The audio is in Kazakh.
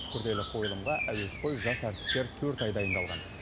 күрделі қойылымға әуесқой жас әртістер төрт ай дайындалған